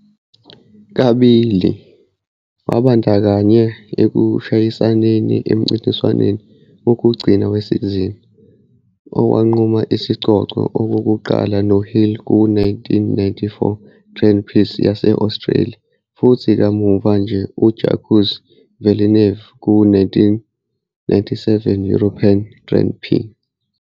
Kabili, wabandakanyeka ekushayisaneni emncintiswaneni wokugcina wesizini owanquma isicoco, okokuqala noHill ku-1994 Grand Prix yase-Australia futhi kamuva noJacques Villeneuve ku-1997 European Grand Prix.